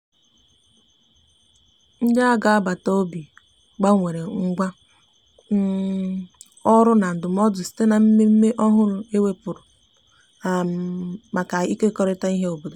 ndi agabata obi gbanwere ngwa um ọrụ na ndumụdo site na mmeme ọhụrụ e weputara um maka ikekọrita ihe obodo